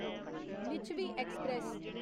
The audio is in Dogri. लिच्छवी ऐक्सप्रैस